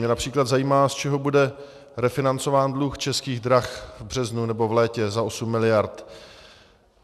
Mě například zajímá, z čeho bude refinancován dluh Českých drah v březnu nebo v létě za osm miliard.